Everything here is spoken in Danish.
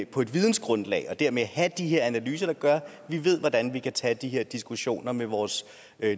på et vidensgrundlag og dermed have de her analyser der gør vi ved hvordan vi kan tage de her diskussioner med vores